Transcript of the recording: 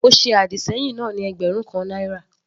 Mo ṣe àdìsẹ́yìn náà ní ẹgbẹ̀rún kan náírà.